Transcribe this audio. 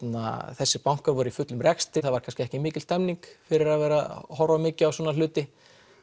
þessir bankar voru í fullum rekstri það var kannski ekki mikil stemming fyrir að vera horfa mikið á svona hluti